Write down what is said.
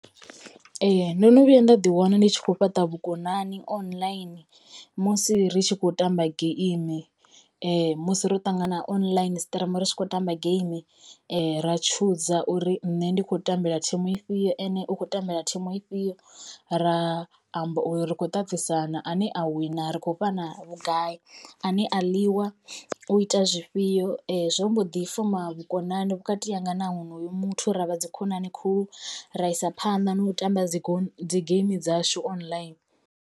Ee ndo no vhuya nda ḓi wana ndi tshi kho fhaṱa vhukonani online musi ri tshi khou tamba geimi musi ro ṱangana online streamer ri tshi khou tamba game ra tshuza uri nṋe ndi khou tambela thimu ifhio ene u khou tambela thimu ifhio. Ra amba uri ri khou ṱaṱisana ane a wina ri khou fha na vhugai a ne a ḽiwa u ita zwifhio zwo mbo ḓi foma vhukonani vhukati hanga na honoyo muthu ravha dzikhonani khulu ra isa phanḓa na u tamba dzi geimi dzashu online.